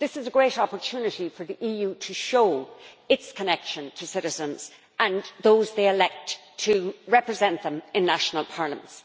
This is a great opportunity for the EU to show its connection to citizens and those they elect to represent them in national parliaments.